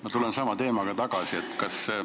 Ma tulen sama teema juurde tagasi.